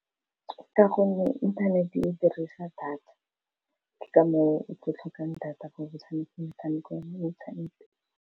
Ka gonne inthanete e dirisa data ke ka moo o tla ditlhokang data ko motshamekong metshameko mo interneteng.